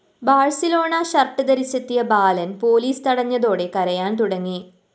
Barcelona shirt ധരിച്ചെത്തിയ ബാലന്‍ police തടഞ്ഞതോടെ കരയാന്‍ തുടങ്ങി